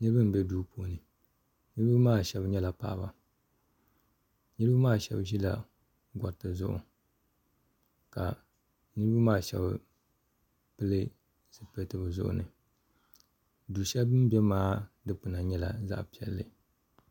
Niriba m-be duu puuni niriba maa shɛba nyɛla paɣiba niriba maa shɛba ʒila gɔriti zuɣu ka niriba maa shɛba pili zipiliti bɛ zuɣu ni du shɛli bɛ ni be maa dukpuna nyɛla zaɣ'piɛlli.